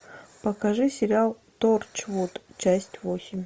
покажи сериал торчвуд часть восемь